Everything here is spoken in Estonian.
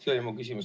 See oli mu küsimus.